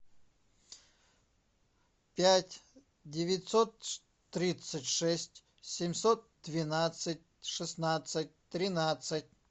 пять девятьсот тридцать шесть семьсот двенадцать шестнадцать тринадцать